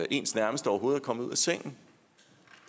ens nærmeste overhovedet er kommet ud af sengen